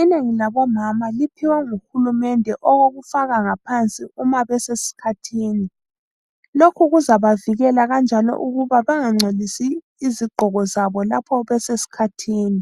Inengi labomama liphiwe nguhulumende okokufaka ngaphansi uma besesikhathini. Lokhu kuzabavikela kanjalo ukuba bangangcolisi izigqoko zabo lapho besesikhathini.